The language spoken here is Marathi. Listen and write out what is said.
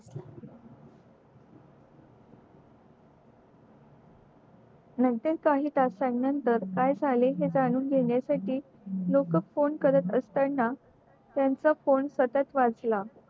नंतर काही तासांनी नंतर काय झाले हे जाणून घेण्या साठी लोक phone करत असताना त्याचा phone सतत वाजला